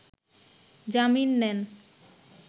জামিন নেন